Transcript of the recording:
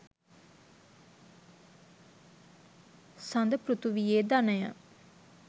සඳ පෘථීවියේ ධනය